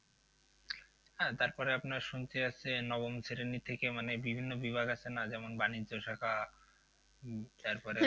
হ্যাঁ তারপরে আপনার শুনছি হচ্ছে নবম শ্রেণী থেকে মানে বিভিন্ন বিভাগ আছে না যেমন বাণিজ্য শাখা উম তারপর